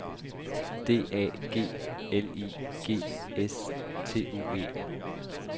D A G L I G S T U E